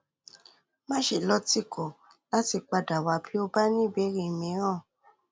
máṣe lọtìkọ láti padà wá bí o bá ní ìbéèrè mìíràn